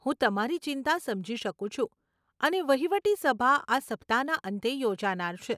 હું તમારી ચિંતા સમજી શકું છું અને વહીવટી સભા આ સપ્તાહના અંતે યોજાનાર છે.